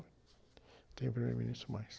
Não tem primeiro ministro mais.